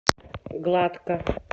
гладко